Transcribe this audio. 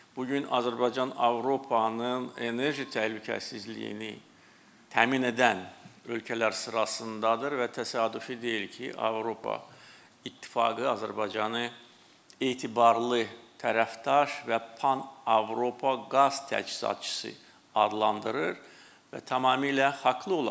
Bu gün Azərbaycan Avropanın enerji təhlükəsizliyini təmin edən ölkələr sırasındadır və təsadüfi deyil ki, Avropa İttifaqı Azərbaycanı etibarlı tərəfdaş və Pan-Avropa qaz təchizatçısı adlandırır və tamamilə haqlı olaraq.